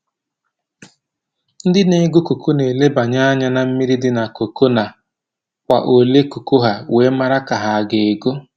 Ndị na-ego koko na elebanye anya na mmiri dị na koko na kwa ole koko ha, wee mara nke ha ga-ego